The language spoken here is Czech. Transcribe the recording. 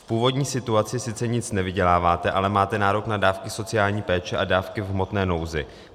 V původní situaci sice nic nevyděláváte, ale máte nárok na dávky sociální péče a dávky v hmotné nouzi.